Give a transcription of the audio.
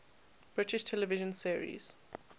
british television series